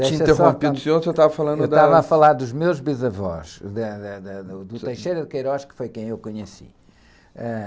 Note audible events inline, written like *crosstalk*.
Eu tinha interrompido o senhor, o senhor estava falando das...u estava a falar dos meus bisavós, da, da, da, do, do, *unintelligible* que foi quem eu conheci.